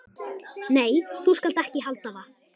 Nei, þú skalt ekki halda það!